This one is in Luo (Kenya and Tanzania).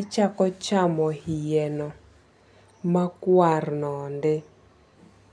ichako chamo iyeno makwar no endo.